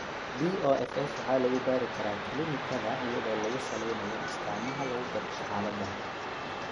BOFS waxa lagu baari karaa kiliinikada iyadoo lagu salaynayo astaamaha lagu garto xaaladan.